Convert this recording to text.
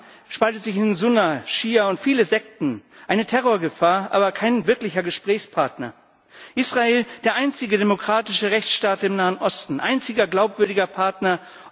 Der Islam spaltet sich in Sunna, Schia und viele Sekten. Eine Terrorgefahr, aber kein wirklicher Gesprächspartner. Israel, der einzige demokratische Rechtsstaat im Nahen Osten, einziger glaubwürdiger Partner.